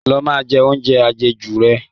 Lọ máa jẹ oúnjẹ àjẹjù rẹ